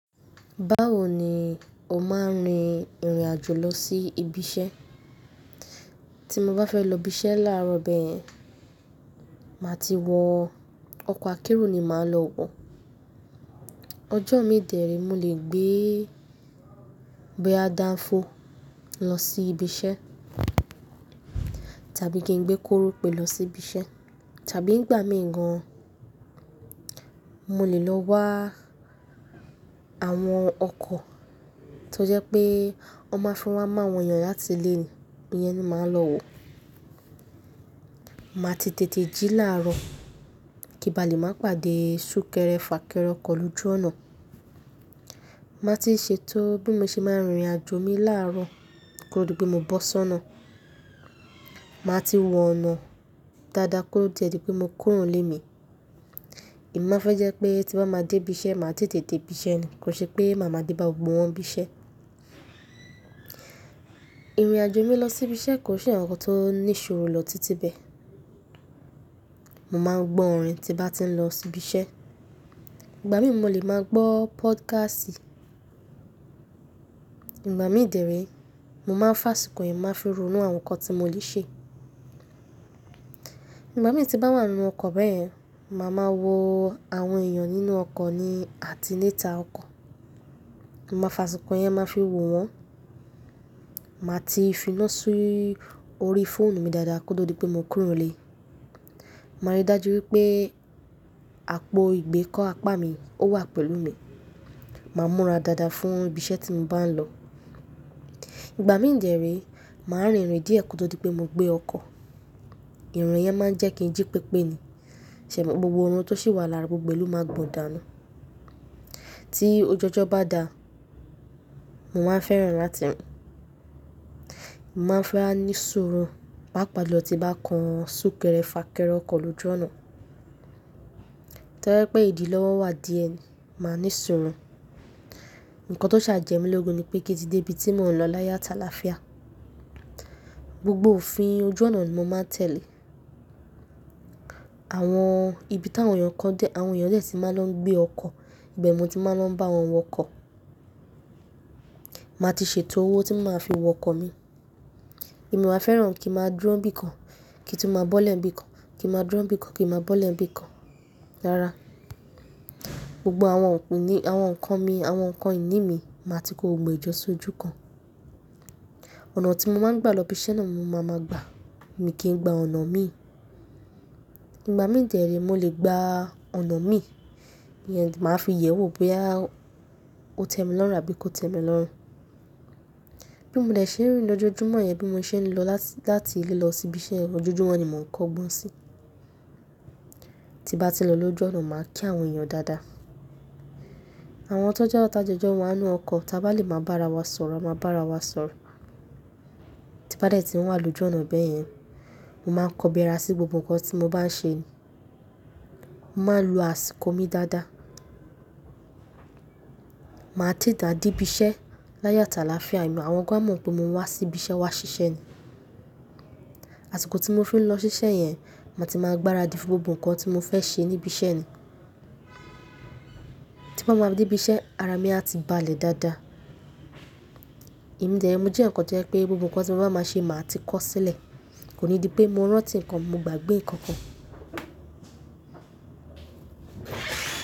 Báwo ni o máa ń rin ìrìn àjò lọ sí ibi iṣẹ́? Tí mo bá fẹ́ lọ ibi iṣẹ́ láàárọ̀ bẹ́yẹ̀n, màá ti wọ ọkọ̀ akérò ni màá lọ wọ. Ọjọ́ min dè ré, mo lè gbé boya danfo lọ sí ibi iṣẹ́ tàbí kí n gbé korope lọ sí ibi iṣẹ́ tàbí ìgbà mìn gan, mo lè lọ wá àwọn ọkọ̀ tó jẹ́ pé wọ́n máa fi wá mu áwọn eyàn láti ilé ni, iyẹn ni màá lọ wọ. Màá ti tètè jí láàárọ̀ kí n ba lè má pàdé súnkẹrẹ fàkẹrẹ ọkọ̀ lójú ọ̀nà. Màá ti ṣe tó bí mo ṣe máa ń rin ìrìn àjò mi láàárọ̀ kó di pé mo bó sọ́nà. Màá ti wo ọ̀nà dáadáa kó tó dí pé mo kúrò nílé mi. Èmi má fẹ́ jẹ́ pé tí bá ma dé ibi iṣẹ́, màá tètè dé ibi iṣẹ́ ni, kò ṣe pé màá máa dé bá gbogbo wọ́n nibi iṣẹ́. Ìrìn àjò mi lọ sí ibi iṣẹ́ kò ṣe àwọn nǹkan tó ní ṣòro lọ títí bẹ́ẹ̀. Mo máa ń gbọ́ orin tí bá ti ń lọ sí ibi iṣẹ́. Ìgbà mìn mo lè máa gbọ́ pódkásì. Ìgbà mín dè ré, mo máa ń fàsìkò yìí máa fi ronú àwọn nǹkan tí mo le ṣe. Ìgbà mín tí mbá wà nínú ọkọ̀ bẹ́yẹ̀n, màá máa wo àwọn èèyàn nínú ọkọ̀ ni àti níta ọkọ̀. Mo máa fa àsìkò yẹn máa fi wo wọ́n. Màá ti finá sí orí fóònù mi dáadáa kó tó dí pé mo kúrò nílé. Màá rí dájú wípé àpò ìgbékọ́ apá mi ó wà pẹ̀lú mi. Màá múra dáadáa fún ibi iṣẹ́ tí mo bá ń lọ. Ìgbà míń dẹ́ rè, màá rìnrìn díẹ̀ kó tó dí pé mo gbé ọkọ̀. Ìrìn yẹn máa ń jẹ́ kí n jí pépé ni. Ṣẹ̀mọ́ gbogbo ọ̀run tó sì wà lára gbogbo e lo máa gbòn dànu. Tí ojọ́jọ́ bá dà, mo máa ń fẹ́ràn láti rìn. Mo máa ń fẹ́rá ní suru papa lo tí mbá kan súnkẹrẹ fàkẹrẹ ọkọ̀ lójú ọ̀nà. Tẹ́lẹ̀ pé ìdí lọ́wọ́ wà díẹ̀ ni, màá ní sọ́rún. Ǹkan tó ṣàjẹ́ mi lógun ni pé kín tí dé ibi tí mò ń lọ láyo àtaláfiá. Gbogbo òfin ojú ọ̀nà ni mo máa tẹ̀lé. Àwọn ibi táwọn èèyàn kọ́ dé, àwọn èèyàn dè tí máa lọ gbé ọkọ̀, ibe ní mo ti máa lọ bá wọn wọ ọkọ̀. Màá ti ṣètò owó tí mo máa fi wọ ọkọ̀ mi. Èmi o máa fẹ́ràn kí ń máa dúró nibí kan, kí n tun máa bọ́lẹ̀ nibí kan, kí ń máa dúró nibí kan, kí n máa bọ́lẹ̀ nibí kan rara. Gbogbo àwọn nǹkan mi, àwọn nǹkan ìní mi, màá ti kó gbogbo e jọ sójú kan. Ọ̀nà tí mo máa ń gba lọ ibi iṣẹ́ náà ni mo máa máa gba. Èmi kìn gba ọ̀nà mí. Ìgbà mí ń jẹ́rè, mo lè gba ọ̀nà mín, màá fi yẹ̀wò bóyá ó tẹ́ mi lọ́rùn àbí kò tẹ́ mi lọ́rùn. Bí mo dé ṣe ń rìn lójojúmọ́ yẹn, bí mo ṣe ń lọ láti ilé lọ sí ibi iṣẹ́, ojojúmọ́ ni mò ń kọ́gbọ́n si. Tí mbá ti lò lójú ọ̀nà, màá kí àwọn èèyàn dáadáa. Àwọn tó jẹ́ awọ̀n tá jọ̀jọ́ wa ninú ọkọ̀, tí a bá lè máa bá ara wa sọ̀rọ̀, a máa bá ara wa sọ̀rọ̀. Tí mbá dé tí n wà lójú ọ̀nà bẹ́yẹn, mo máa ń kọbi ara sí gbogbo nǹkan tí mo bá ń ṣe ni. Mo máa lo àsìkò mi dáadáa. Màá tete à dé ibi iṣẹ́ láyo ataláfiá, àwọn gan a mọ̀ pé mo wá sí ibi iṣẹ́ wá ṣiṣẹ́ ni. Àsìkò tí mo fi ń lọ ṣiṣẹ́ yẹn, ma ti máa gbáradì fún gbogbo nǹkan tí mo fẹ́ ṣe ní ibi iṣẹ́ ni. Tí mo bá ti dé ibi iṣẹ́, ara mi a ti balẹ̀ dáadáa. Èmi dè ré, mo jẹ́ eyaǹkan to jẹ pé gbogbo nǹkan tí mo bá máa ṣe, màá ti kọ́ sílẹ̀. Kò ní di pé mo rántí nǹkan, mo gbàgbé nǹkan kan.